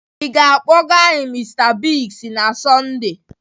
Ị ga-akpọga anyị Mr Biggs na Sọnde?